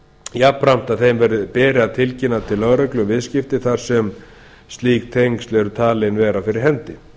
jafnframt að þeim beri að tilkynna til lögreglu um viðskipti þar sem slík tengsl eru talin vera fyrir hendi